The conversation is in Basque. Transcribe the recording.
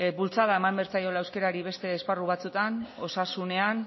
bultzada eman behar zaiola euskerari beste esparru batzuetan osasunean